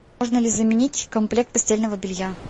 можно ли заменить комплект постельного белья